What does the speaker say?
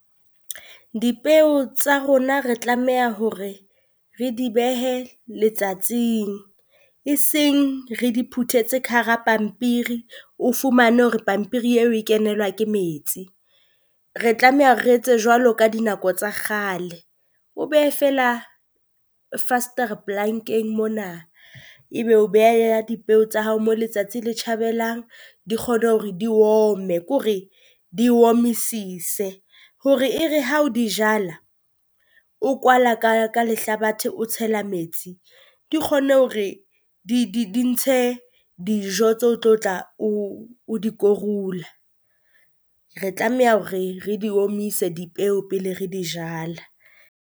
dipeo tsa rona re tlameha hore re di behe letsatsing eseng re di phutetse ka hara pampiri, o fumane hore pampiri eo e kenelwa ke metsi. Re tlameha re etse jwalo ka dinako tsa kgale, O behe feela mona, ebe o beha ya dipeo tsa hao mo letsatsi le tjhabelang. Di kgone hore di ome ke hore di omisise hore e re ha o di jala, o kwala ka ka lehlabathe o tshela metsi. Di kgone hore di di di ntshe dijo tse o tlo tla o o di korula, re tlameha hore re di omise dipeo pele re di jala.